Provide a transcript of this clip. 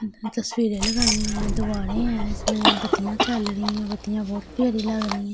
तस्वीरें लगाई हुई हैं दीवारें हैं इसमें बत्तियां जल रही हैं बत्तियां बहोत प्यारी लग रही हैं।